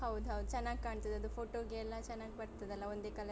ಹೌದ್ ಹೌದು ಚೆನ್ನಾಗ್ಕಾಣ್ತದೆ ಅದು ಫೋಟೋಗೆ ಎಲ್ಲ ಚೆನ್ನಾಗ್ ಬರ್ತದಲ್ಲ ಒಂದೇ ಕಲರಿದ್ರೆ.